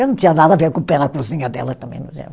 Eu não tinha nada a ver com o pé na cozinha dela também.